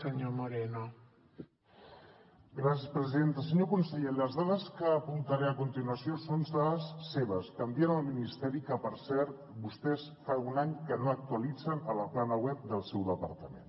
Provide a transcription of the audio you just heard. senyor conseller les dades que apuntaré a continuació són dades seves que envien al ministeri que per cert vostès fa un any que no actualitzen a la plana web del seu departament